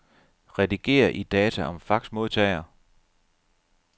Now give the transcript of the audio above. Rediger i data om faxmodtager.